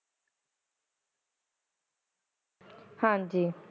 ਹਾਜੀ